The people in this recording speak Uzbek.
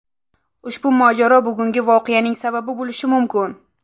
Ushbu mojaro bugungi voqeaning sababi bo‘lishi mumkin.